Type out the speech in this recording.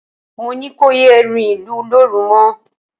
Mo ní kò yé rìnlú lóru mọ